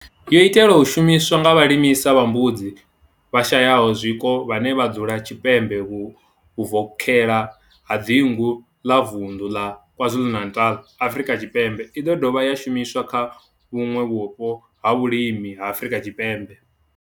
yo itelwa u shumiswa nga vhalisa vha mbudzi vhashayaho zwiko vhane vha dzula tshipembe vhuvokhela ha dzingu la Vundu la KwaZulu-Natal, Afrika Tshipembe i do dovha ya shumiswa kha vhuṋwe vhupo ha vhulimi ha Afrika Tshipembe.